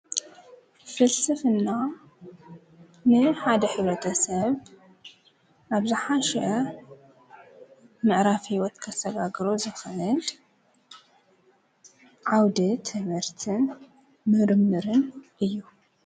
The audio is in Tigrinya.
ፍልስፍና ናይ ሓደ ሕብረተሰብ ናብ ዝሓሸ ምዕራፍ ሂወት ከሰጋግሮ ዝክእል ዓውደ ትምህርትን ምርምርን እዩ።